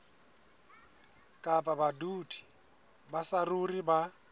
kapa badudi ba saruri ba